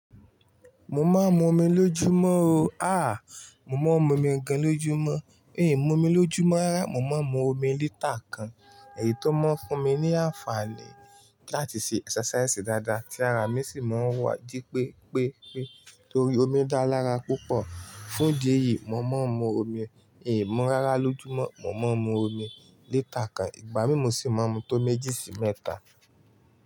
Mo máa ń mu omi lójúmọ́ o. Àá, mo máa ń mu omi gan lójúmọ́. Ehn, mu omi lójúmọ́. Rárá, mo máa ń mu omi lítà kan. Èyí tó máa ń fún mi ní àǹfààní láti ṣe exercise dáadáa, tí ara mi sì máa ń wà jí pé pé pé torí omi dára lára púpọ̀. Fún dí èyí, mo máa ń mu omi. Ehn, mu ń rárá lójúmọ́. Mo máa ń mu omi lítà kan. Ìgbà mí mo sì máa ń mú tó méjì sí mẹ́ta.